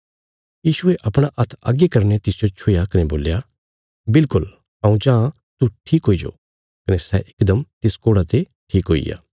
यीशुये अपणा हात्थ अग्गे करीने तिसजो छुया कने बोल्या बिल्कुल हऊँ चाँह तू ठीक हुईजो कने सै इकदम तिस कोढ़ा ते ठीक हुईग्या